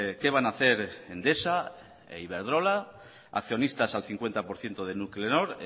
qué van a hacer endesa e iberdrola accionistas al cincuenta por ciento de nuclenor